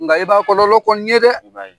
Nga i b'a kɔlɔlɔ kɔnni ye dɛ! I b'a ye.